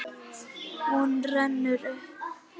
Hún rennur upp.